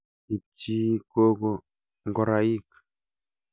Ipchii kooko ngoraik